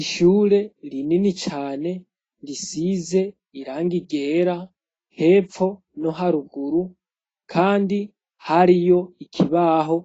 Ishyure rinini cane risize irangi ryera hepfo no haruguru, kandi hariyo ikibaho